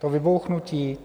To vybouchnutí?